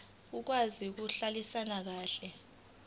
okwazi ukuhlalisana kahle